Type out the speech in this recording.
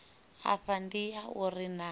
afha ndi ya uri naa